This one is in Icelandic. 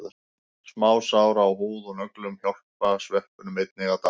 Smásár á húð og nöglum hjálpa sveppunum einnig að dafna.